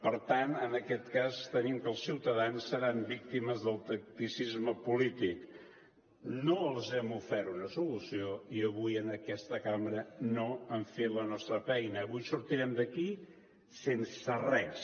per tant en aquest cas tenim que els ciutadans seran víctimes del tacticisme polític no els hem ofert una solució i avui en aquesta cambra no hem fet la nostra feina avui sortirem d’aquí sense res